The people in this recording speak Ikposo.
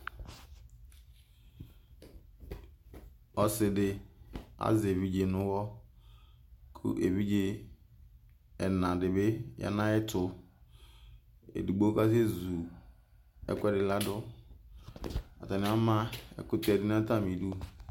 ɔsidi ɑye ɛvidze nuwɔ ku ɛvidze ɛnɑyanayetu ɛdigbo kɑsezu ɛkuedi lɑdu ɑtania mɑ ɛkutse nɑtamidu